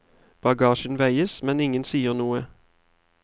Bagasjen veies, men ingen sier noe.